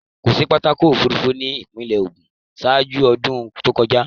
Kòsí pápákọ̀ òfurufú ni ìpínlẹ̀ ògùn ṣáájú ọdún tó kọjá.